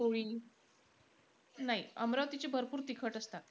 नाई. अमरावतीचे भरपूर तिखट असतात